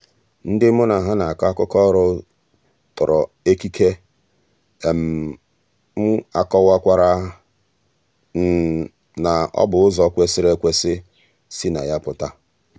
ndị mụ́ na há nà-árụ́kọ́ ọ́rụ́ tòrò ékíkè m ákọ́wàkwàrà m na ọ́ bụ́ n’ụ́zọ́ kwèsị́rị́ ékwésị́ sì na yá pụ̀tà.